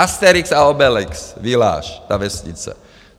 Asterix a Obelix village, ta vesnice.